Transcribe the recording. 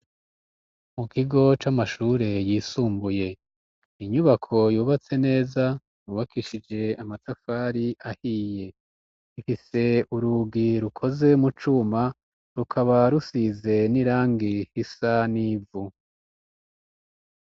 Mu kigo c'amashure yisumbuye inyubako yubatse neza yubakishije amatafari ahiye, ifise urugi rukoze mu cuma rukaba rusize n'irangi isa n'ivu.